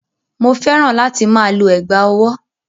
Mò fẹ́ràn láti máa lo ẹ̀gbá-ọwọ́.